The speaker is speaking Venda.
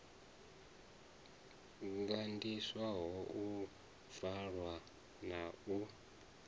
gandiswaho u bvalwa na u